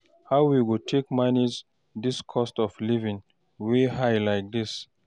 How we go take manage dis cost of living wey high like dis?